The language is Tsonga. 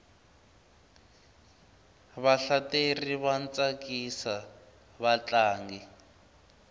vahlateri va tsakisa vatlangi